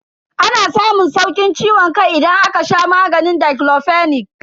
Ana samun saukin ciwon kai idan aka sha maganin diclofenac.